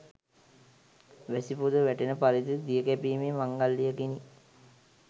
වැසි පොද වැටෙන පරිදි දිය කැපීමේ මංගල්‍යයකිනි.